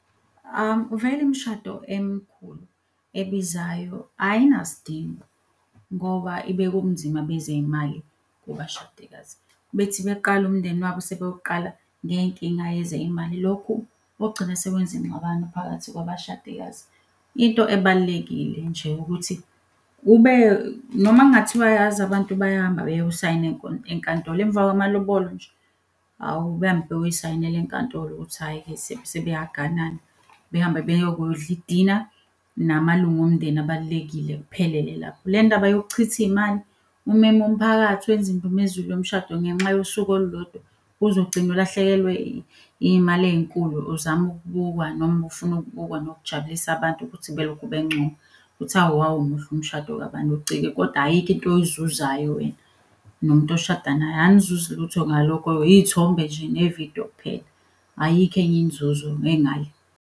Vele imishado emkhulu ebizayo ayinasdingo ngoba ibeka ubunzima bezey'mali kubashadikazi, bethi beqala umndeni wabo sebewuqala ngey'nkinga yezey'mali. Lokhu kogcina sekwenza ingxabano phakathi kwabashadikazi. Into ebalulekile nje ukuthi kube, noma kungathiwa yazi abantu bayahamba beyosayina enkantolo emva kwamalobolo nje awu behambe beyoyisayinela enkantolo ukuthi hhayi-ke sebeyaganana. Behambe beyo kudla idina namalunga omndeni abalulekile kuphelele lapho. Le ndaba yokuchitha iy'mali umeme umphakathi wenze indumezulu yomshado ngenxa yosuku olulodwa uze ugcine ulahlekelwe iy'mali ey'nkulu uzama ukubukwa. Noma ufuna ukubukwa nokujabulisa abantu ukuthi belokhu bencoma ukuthi, hhawu wawumuhle umshado kabani . Kodwa ayikho into oyizuzayo wena nomuntu oshada naye anizuzi lutho ngalokho. Iy'thombe nje, nevidiyo kuphela, ayikho enye inzuzo engale.